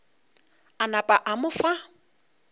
a napa a mo fa